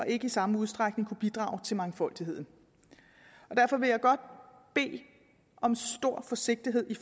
ikke i samme udstrækning kunne bidrage til mangfoldigheden derfor vil jeg godt bede om stor forsigtighed